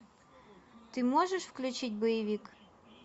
ты можешь включить боевик